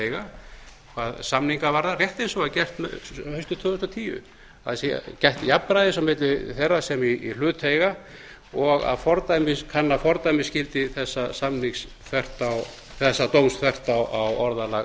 eiga hvað samninga varðar rétt eins og var gert haustið tvö þúsund og tíu að það sé gætt jafnræðis á milli þeirra sem í hlut eiga og að kanna fordæmisgildi þessa dóms þvert á orðalag